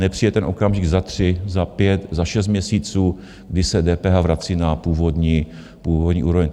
Nepřijde ten okamžik za tři, za pět, za šest měsíců, kdy se DPH vrací na původní úroveň.